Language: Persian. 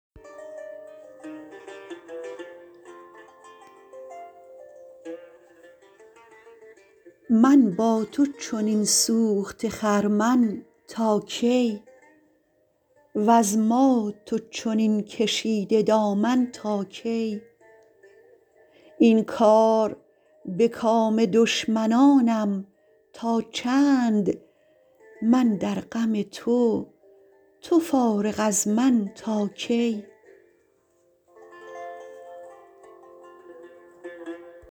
من با تو چنین سوخته خرمن تا کی وز ما تو چنین کشیده دامن تا کی این کار به کام دشمنانم تا چند من در غم تو تو فارغ از من تا کی